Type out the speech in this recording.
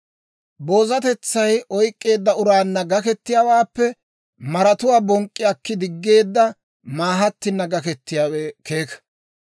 Boozatetsay oyk'k'eedda uraanna gakketiyaawaappe maratuwaa bonk'k'i akki diggeedda maahattina gakketiyaawe keeka.